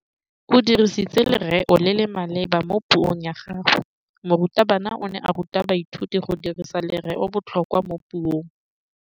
O dirisitse lerêo le le maleba mo puông ya gagwe. Morutabana o ne a ruta baithuti go dirisa lêrêôbotlhôkwa mo puong.